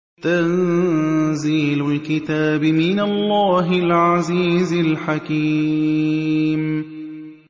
تَنزِيلُ الْكِتَابِ مِنَ اللَّهِ الْعَزِيزِ الْحَكِيمِ